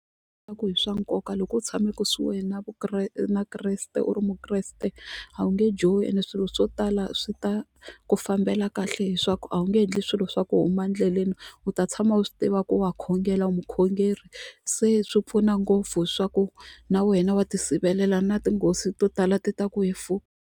Leswaku hi swa nkoka loko u tshame kusuhi na na Kreste u ri Mukreste a wu nge johi ende swilo swo tala swi ta ku fambela kahle hiswaku a wu nge endli swilo swa ku huma endleleni u ta tshama u swi tiva ku wa khongela u mukhongeri se swi pfuna ngopfu swa ku na wena wa ti sivelela na tinghozi to tala ti ta ku hi .